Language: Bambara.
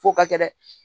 F'o ka kɛ dɛ